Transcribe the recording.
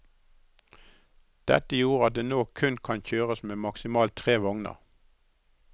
Dette gjorde at det nå kun kan kjøres med maksimalt tre vogner.